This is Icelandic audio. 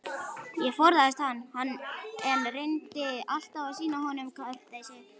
Ég forðaðist hann, en reyndi alltaf að sýna honum kurteisi.